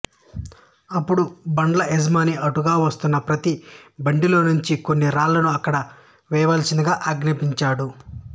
అప్పుడు బండ్ల యజమాని అటుగా వస్తున్న ప్రతీ బండిలోంచి కొన్ని రాళ్ళను అక్కడ వెయ్యాల్సిందిగా ఆజ్ఞాపించాడు